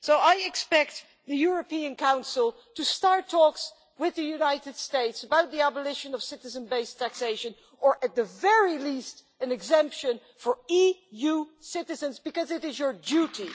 So I expect the European Council to start talks with the United States about the abolition of citizen based taxation or, at the very least, an exemption for EU citizens, because it is your duty.